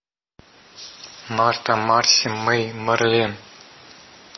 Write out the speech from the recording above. марта марси мэй марлен